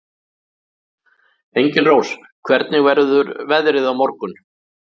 Engilrós, hvernig verður veðrið á morgun?